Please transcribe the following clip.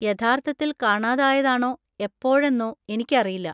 യഥാർത്ഥത്തിൽ കാണാതായതാണോ എപ്പോഴെന്നോ എനിക്കറിയില്ല.